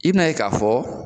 I bin'a ye k'a fɔ